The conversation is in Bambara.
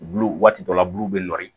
Bulu waati dɔ la bulu bɛ n'i